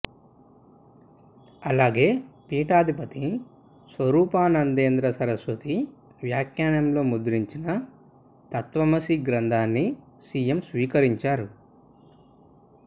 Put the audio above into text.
అలాగే పీఠాధిపతి స్వరూపానందేంద్ర సరస్వతి వ్యాఖ్యానంలో ముద్రించిన తత్త్వమసి గ్రంథాన్ని సీఎం స్వీకరించారు